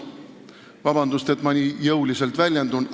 Vabandust, et ma nii jõuliselt väljendun!